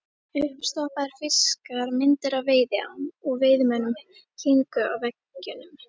Uppstoppaðir fiskar, myndir af veiðiám og veiðimönnum héngu á veggjunum.